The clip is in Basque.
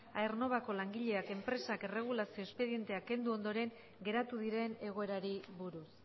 aernnovako langileak enpresak erregulazio espedientea kendu ondoren geratu diren egoerari buruz